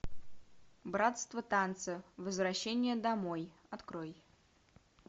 братство танца возвращение домой открой